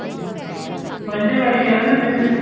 ਬੰਟੇ ਬੜੇ ਖੇਲਦੇ ਹੁੰਦੇ ਸੀ ਅਸੀਂ